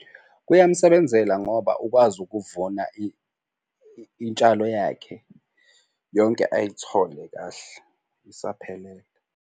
Kuyamsebenzela ngoba ukwazi ukuvuna intshalo yakhe yonke ayithole kahle isaphelele.